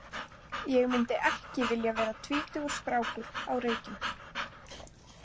Ég myndi ekki vilja vera tvítugur strákur á Reykjum.